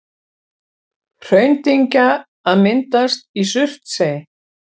Hraundyngja að myndast í Surtsey.